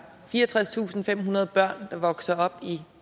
fireogtredstusinde og femhundrede børn der vokser op